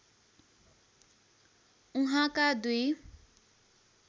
उहाँका दुई